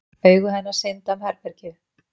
Augu hennar synda um herbergið.